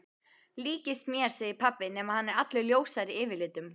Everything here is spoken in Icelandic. Líkist mér segir pabbi nema hann er allur ljósari yfirlitum.